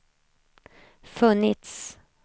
funnits